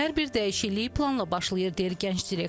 Hər bir dəyişiklik planla başlayır deyir gənc direktor.